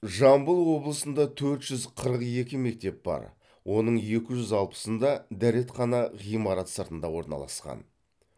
жамбыл облысында төрт жүз қырық екі мектеп бар оның екі жүз алпысында дәретхана ғимарат сыртында орналасқан